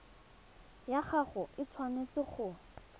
ya gago e tshwanetse go